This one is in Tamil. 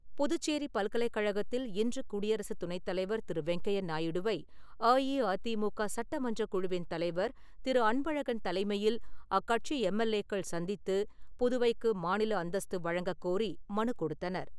புதுச்சேரி பல்கலைக்கழகத்தில் இன்று குடியரசு துணைத் தலைவர் திரு வெங்கையா நாயுடுவை அஇஅதிமுக சட்டமன்றக் குழுவின் தலைவர் திரு அன்பழகன் தலைமையில் அக்கட்சி எம்எல்ஏக்கள் சந்தித்து, புதுவைக்கு மாநில அந்தஸ்து வழங்கக் கோரி மனு கொடுத்தனர்.